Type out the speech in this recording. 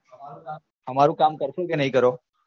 અમારું કામ કરશો કે નઈ કરો